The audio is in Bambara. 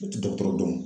U tɛ dɔgɔtɔrɔ dɔn